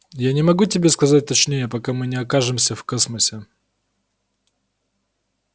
я не могу тебе сказать точнее пока мы не окажемся в космосе